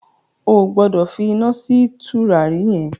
O gbọ́dọ̀ fi iná sí tùràrí yẹn!